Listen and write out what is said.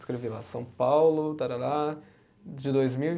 Escrevi lá São Paulo tarara de dois mil e